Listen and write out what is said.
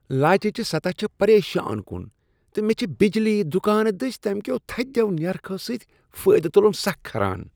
لالچہِ سطح چھ پریشان کن، تہٕ مےٚ چھ بجلی دکانہٕ دٔسۍ تمہ کٮ۪و تھدیو نیرخو سۭتۍ فٲیدٕ تُلُن سخ کھران۔